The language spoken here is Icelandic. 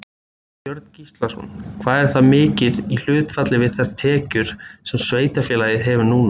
Björn Gíslason: Hvað er það mikið í hlutfalli við þær tekjur sem sveitarfélagið hefur núna?